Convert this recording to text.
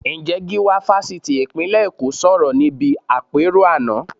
Ǹjẹ́ Gíwá Fásitì ìpínlẹ̀ Èkó sọ̀rọ̀ níbi àpérò àná?